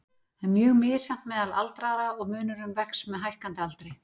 Það er mjög misjafnt meðal aldraðra og munurinn vex með hækkandi aldri.